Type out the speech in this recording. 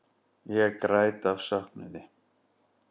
Ég græt af söknuði.